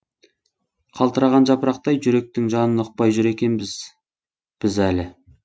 қалтыраған жапырақтай жүректің жанын ұқпай жүр екенбіз біз әлі